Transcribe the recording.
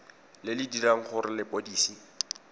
le le dirang gore lepodisi